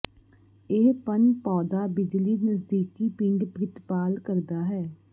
ਇਹ ਪਣ ਪੌਦਾ ਬਿਜਲੀ ਨਜ਼ਦੀਕੀ ਪਿੰਡ ਪ੍ਰਿਤਪਾਲ ਕਰਦਾ ਹੈ